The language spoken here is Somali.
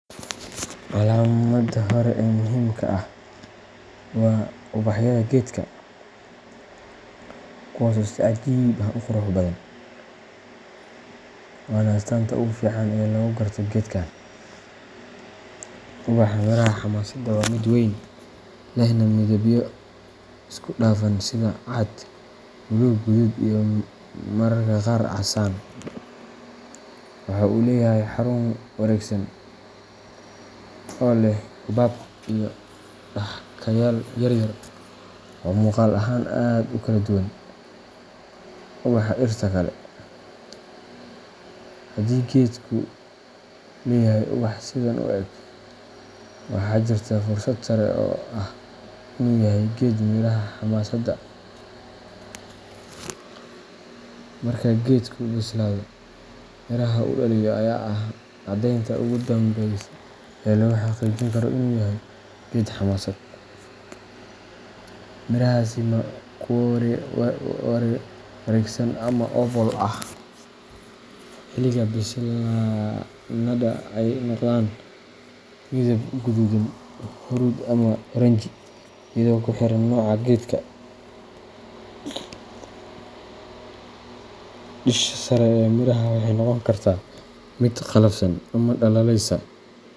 Calaamada hore ee muhiimka ah waa ubaxyada geedka, kuwaas oo si cajiib ah u qurux badan, waana astaanta ugu fiican ee lagu garto geedkan. Ubaxa miraha xamaasadda waa mid weyn, lehna midabyo isku dhafan sida cad, buluug, guduud iyo mararka qaar casaan. Waxa uu leeyahay xarun wareegsan oo leh xuubab iyo xadhkayaal yaryar oo muuqaal ahaan aad u kala duwan ubaxa dhirta kale. Haddii geedku leeyahay ubax sidan u eg, waxaa jirta fursad sare oo ah in uu yahay geed miraha xamaasadda. Marka geedku bislaado, miraha uu dhaliyo ayaa ah caddeynta ugu dambaysa ee lagu xaqiijin karo inuu yahay geed xamaasad. Mirahaasi waa kuwo wareegsan ama oval ah, xilliga bislaadana ay noqdaan midab guduudan, huruud ama oranji, iyadoo ku xiran nooca geedka. Dusha sare ee miraha waxay noqon kartaa mid qallafsan ama dhalaalaysa.